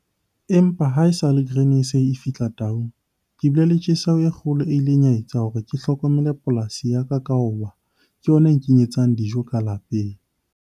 Empa haesale Grain SA e fihla Taung, ke bile le tjheseho e kgolo e ileng ya etsa hore ke hlokomele polasi ya ka hobane ke yona e nkenyetsang dijo ka lapeng.